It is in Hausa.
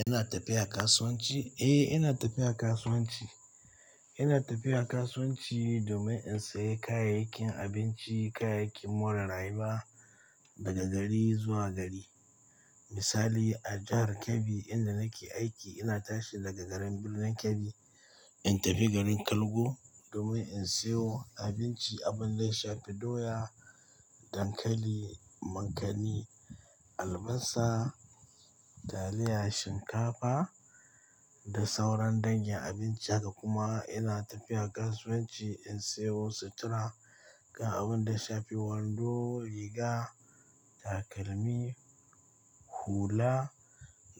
Ina tafiya kasuwanci? Eh, ina tafiya kasuwanci. Ina tafiya kasuwanci domin in sayi kayayyakin abinci, kayayyakin more rayuwa daga gari zuwa gari. Misali a jahar Kebbi inda nake aiki, ina tashi daga garin Birnin Kebbi in tafi garin Kargo domin in siyo abinci, abun ya shafi doya, dankali, mankani, albasa, taliya, shinkafa da sauran dangin abinci haka kuma ina tafiya kasuwanci in siyo sutura, ga abun ya shafi wando, riga, takalmi, hula